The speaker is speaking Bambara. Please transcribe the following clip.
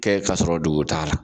Kɛ kasɔrɔ dugun t'a la